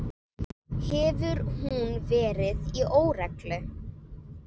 Hefur hún verið í óreglu?